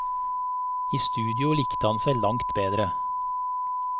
I studio likte han seg langt bedre.